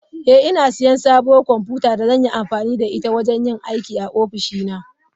Eh, ina siyan sabuwar kwamfuta da zan yi amfani da ita wajen yin aiki a ofishina.